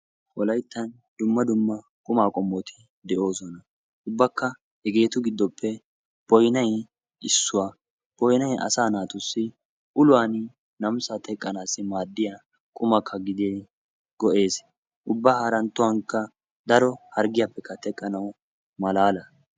Wolayttan dumma dumma qummaa qommoti de'oosona, ubbakka hegeetu giddoppe boynay issuwa, boynay asa naatussi uluwan namissaa namissaa teqqanaassi maadiya qumakka gidin go'ees. Ubba harantuwankka daro harggiyappekka teqqanawukka malaala.